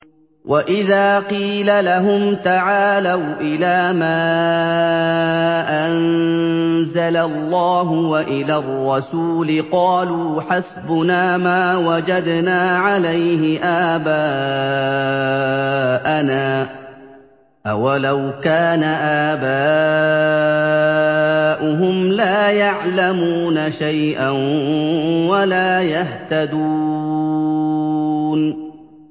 وَإِذَا قِيلَ لَهُمْ تَعَالَوْا إِلَىٰ مَا أَنزَلَ اللَّهُ وَإِلَى الرَّسُولِ قَالُوا حَسْبُنَا مَا وَجَدْنَا عَلَيْهِ آبَاءَنَا ۚ أَوَلَوْ كَانَ آبَاؤُهُمْ لَا يَعْلَمُونَ شَيْئًا وَلَا يَهْتَدُونَ